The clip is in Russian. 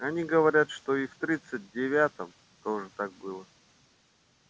они говорят что и в тридцать девятом тоже так было